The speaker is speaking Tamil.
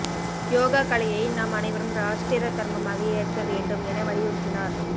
யோகா கலையை நாம் அனைவரும் ராஷ்டிர தர்மமாக ஏற்க வேண்டும் என வலியுறுத்தினார்